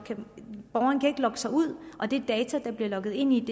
sig ud og de data der bliver logget ind i